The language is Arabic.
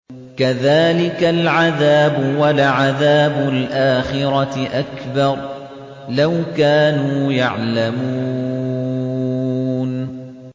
كَذَٰلِكَ الْعَذَابُ ۖ وَلَعَذَابُ الْآخِرَةِ أَكْبَرُ ۚ لَوْ كَانُوا يَعْلَمُونَ